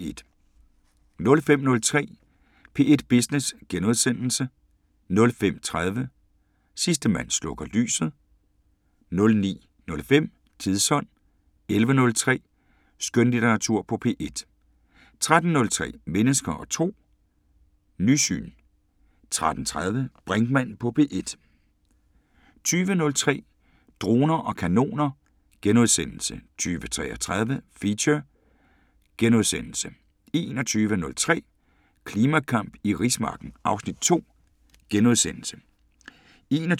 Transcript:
05:03: P1 Business * 05:30: Sidste mand slukker lyset * 09:05: Tidsånd 11:03: Skønlitteratur på P1 13:03: Mennesker og Tro: Nysyn 13:30: Brinkmann på P1 20:03: Droner og kanoner * 20:33: Feature * 21:03: Klimakamp i rismarken (Afs. 2)* 21:33: Tændt *